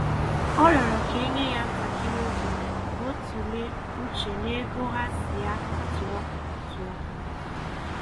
um Ọ rịọrọ ka e nye ya ntakịrị um oge ka ọ tụlee uche n'ego ha sị ya um tụọ um tụọ